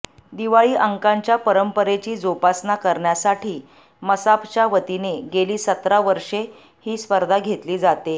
दिवाळी अंकांच्या परंपरेची जोपासना करण्यासाठी मसापच्या वतीने गेली सतरा वर्षे ही स्पर्धा घेतली जाते